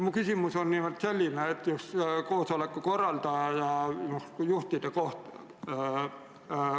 Mu küsimus on just koosoleku korraldaja kohta.